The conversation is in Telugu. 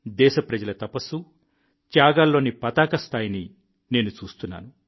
దేశప్రజల తపస్సు త్యాగాల్లోని పతాకస్థాయిని నేను చూస్తున్నాను